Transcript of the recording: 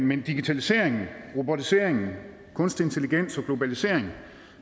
men digitalisering robotisering kunstig intelligens og globalisering